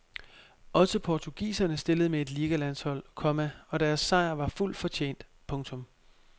Også portugiserne stillede med et ligalandshold, komma og deres sejr var fuldt fortjent. punktum